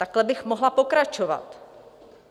Takhle bych mohla pokračovat.